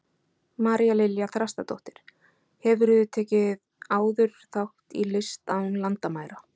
María Lilja Þrastardóttir: Hefurðu tekið áður þátt í List án landamæra?